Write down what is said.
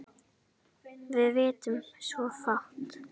Við vitum svo fátt.